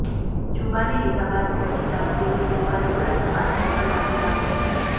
જુબાની લીધા બાદ કોર્ટે સાક્ષીઓની ગુરુવારે ઉલટ તપાસ કરવાના આદેશ આપ્યો છે